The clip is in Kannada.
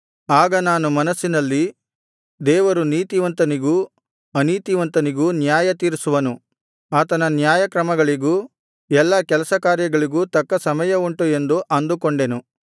ಆಗ ನಾನು ಮನಸ್ಸಿನಲ್ಲಿ ದೇವರು ನೀತಿವಂತನಿಗೂ ಅನೀತಿವಂತನಿಗೂ ನ್ಯಾಯತೀರಿಸುವನು ಆತನ ನ್ಯಾಯಕ್ರಮಗಳಿಗೂ ಎಲ್ಲಾ ಕೆಲಸಕಾರ್ಯಗಳಿಗೂ ತಕ್ಕ ಸಮಯ ಉಂಟು ಎಂದು ಅಂದುಕೊಂಡೆನು